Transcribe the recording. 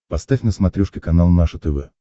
поставь на смотрешке канал наше тв